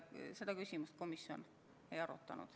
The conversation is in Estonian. Seda küsimust komisjon ei arutanud.